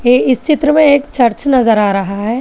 इस चित्र में एक चर्च नजर आ रहा है।